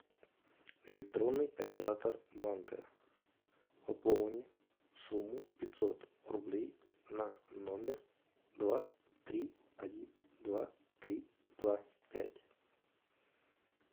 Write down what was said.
электронный оператор банка пополни сумму пятьсот рублей на номер два три один два три два пять